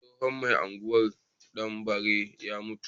Tsohon mai unguwar danbare ya mutu